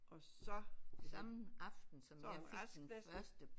Og så så var han rask næsten